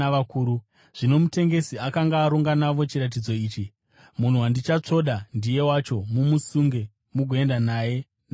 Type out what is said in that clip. Zvino mutengesi akanga aronga navo chiratidzo achiti, “Munhu wandichatsvoda ndiye wacho; mumusunge mugoenda naye navarindi.”